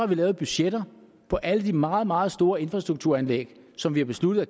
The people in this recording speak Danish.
vi lavet budgetter for alle de meget meget store infrastrukturanlæg som vi har besluttet at